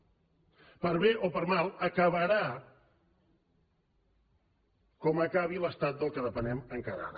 per bé o per mal acabarà com acabi l’estat del qual depenem encara ara